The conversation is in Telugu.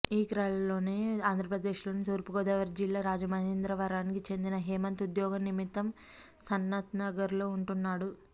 ఈ క్రలోనే ఆంధ్రప్రదేశ్లోని తూర్పుగోదావరి జిల్లా రాజమహేంద్రవరానికి చెందిన హేమంత్ ఉద్యోగం నిమిత్తం సనత్నగర్లో ఉంటున్నాడు